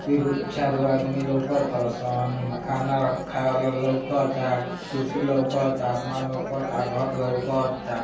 चार आदमी लौकता सुन खाना खाया लौकता कुर्सी लोकाता आसमान लौकता घर लौकाता।